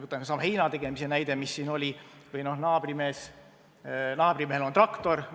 Võtame selle heinategemise näite, naabrimehel on traktor.